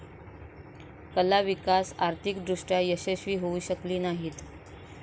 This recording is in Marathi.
कला विकास आर्थिक दृष्ट्या यशस्वी होऊ शकली नाहीत.